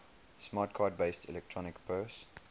smart card based electronic purse